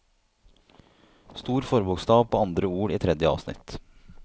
Stor forbokstav på andre ord i tredje avsnitt